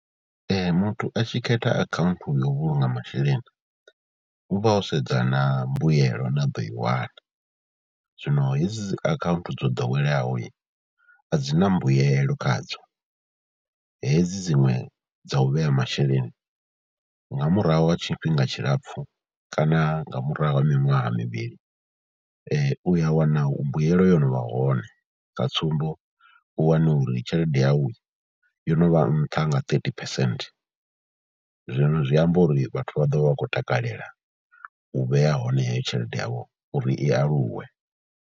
Muthu a tshi khetha akhaunthu ya u vhulunga masheleni u vha o sedza na mbuyelo ine a ḓo i wana, zwino hedzi dzi akhaunthu dzo ḓoweleaho a dzi na mbuyelo khadzo. Jedzi dziṅwe dza u vhea masheleni nga murahu ha tshifhinga tshilapfhu kana nga murahu ha miṅwaha mivhili u ya wana mbuyelo yo no vha hone, sa tsumbo u wane uri tshelede yau yo no vha nṱha nga thirty percent. Zwino zwi amba uri vhathu vha ḓo vha vha khou takalela u vhea hone heyo tshelede yavho uri i aluwe.